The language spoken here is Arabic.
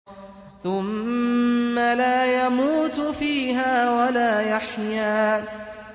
ثُمَّ لَا يَمُوتُ فِيهَا وَلَا يَحْيَىٰ